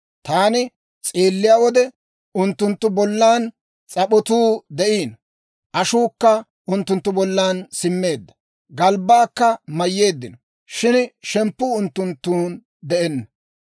Taani s'eelliyaa wode, unttunttu bollan s'ap'otuu de'iino; ashuukka unttunttu bollan simmeedda; galbbaakka mayyeeddino; shin shemppuu unttunttun de'enna.